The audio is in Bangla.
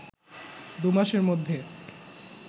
দু’মাসের মধ্যে